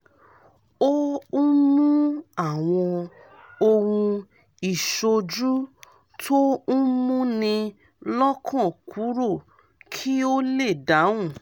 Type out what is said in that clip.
ó ń mú àwọn ohun ìṣójú tó ń múni lọ́kàn kúrò kí ó lè dáhùn